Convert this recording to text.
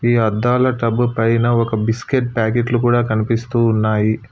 ఈ అద్దాల ట్రబ్బు పైన ఒక బిస్కెట్ ప్యాకెట్లు కూడా కనిపిస్తూ ఉన్నాయి.